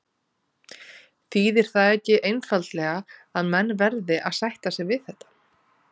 Þýðir það ekki einfaldlega að menn verði að sætta sig við þetta?